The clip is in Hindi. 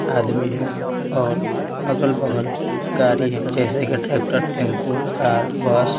आदमी है और अगल-बगल गाड़ी है जैसे कि ट्रैक्टर टेंपो कार बस--